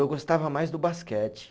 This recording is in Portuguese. Eu gostava mais do basquete.